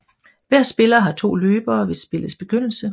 Hver spiller har to løbere ved spillets begyndelse